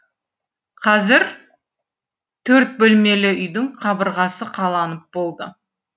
қазір төрт бөлмелі үйдің қабырғасы қаланып болды